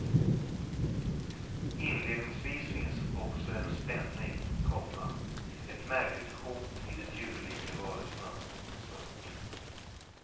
Inledningsvis finns också en spänning, komma ett märkligt hot i de djurlika varelserna. punkt